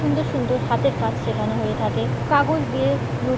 সুন্দর সুন্দর হাতের কাজ শেখানো হয়ে থাকে কাগজ দিয়ে নু--